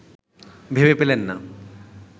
ভেবে পেলেন না